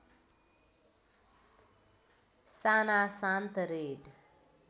साना शान्त रेड